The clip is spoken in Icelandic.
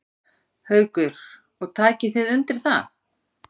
Haukur: Og takið þið undir það?